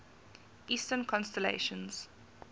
eastern constellations